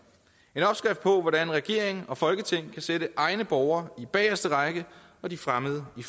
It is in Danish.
en opskrift på hvordan regering og folketing kan sætte egne borgere i bageste række og de fremmede i